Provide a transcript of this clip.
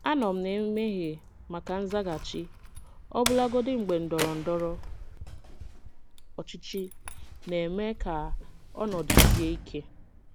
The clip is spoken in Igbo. Anọ m na-emeghe maka nzaghachi, ọbụlagodi mgbe ndọrọ ndọrọ ọchịchị na-eme ka ọnọdụ sie ike.